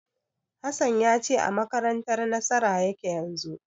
Hassan ya ce a makarantar Nasara yake yanzu.